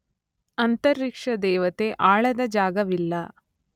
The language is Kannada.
ಅಂತರಿಕ್ಷದೇವತೆ ಆಳದ ಜಾಗವಿಲ್ಲ.